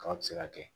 Kaba ti se ka kɛ